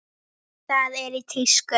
Það er í tísku.